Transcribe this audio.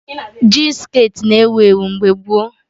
Jin skirtị na-ewu ewu mgbe gboo